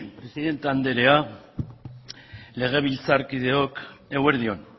presidente andrea legebiltzarkideok eguerdi on